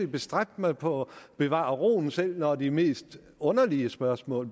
bestræbt mig på at bevare roen selv når de mest underlige spørgsmål